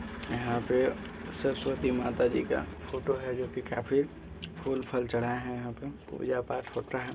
यहाँ पे सरस्वती माता जी का फोटो है जो कि काफी फूल फाल चढ़ाया है यहाँ पे पूजा पाठ होता है।